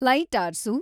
ಲೈಟಾರ್ಸು